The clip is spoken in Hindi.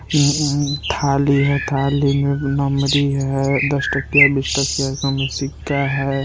उ उहु थाली है थाली मे नम्बरी है दस टकिया बीस टकिया का उमें सिक्का है।